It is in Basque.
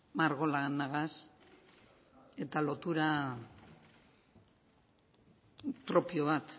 margolanagaz eta lotura propio bat